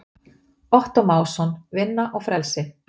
Ottó Másson, Vinna og frelsi.